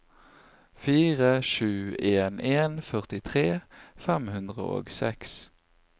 fire sju en en førtitre fem hundre og seks